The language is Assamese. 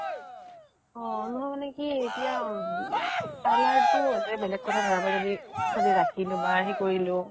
অ নহয় মানে কি এতিয়া অম parlour টো হলে বেলেগ কথা ধৰা মই যদি ছোৱালী ৰাখিলো বা সি কৰিলো